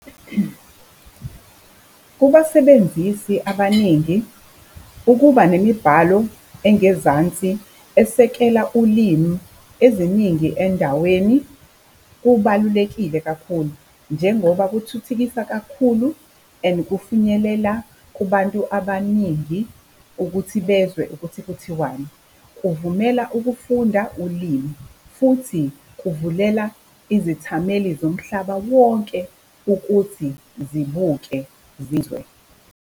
Kubasebenzisi abaningi, ukuba nemibhalo engezansi esekela ulimi eziningi endaweni kubalulekile kakhulu njengoba kuthuthukisa kakhulu and kufinyelela kubantu abaningi ukuthi bezwe ukuthi kuthiwani. Kuvumela ukufunda ulimi, futhi kuvulela izethameli zomhlaba wonke ukuthi zibuke zizwe.